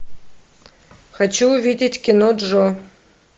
хочу увидеть кино джо